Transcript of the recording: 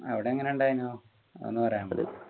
അവിടെ എങ്ങനെ ഉണ്ടായിനു അതൊന്നു പറയാമോ